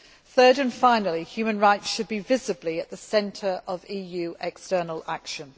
Third and finally, human rights should be visibly at the centre of EU external action.